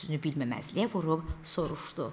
Özünü bilməməzliyə vurub soruşdu: